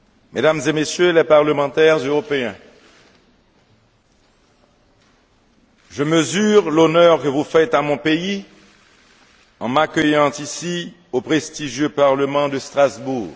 Mesdames et Messieurs les Parlementaires européens, je mesure l'honneur que vous faites à mon pays en m'accueillant ici au prestigieux Parlement de Strasbourg.